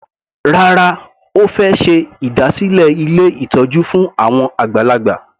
Rárá, Ó fẹ́ ṣe ìdásílẹ̀ ilé ìtọ́jú fún àwọn àgbàlagbà.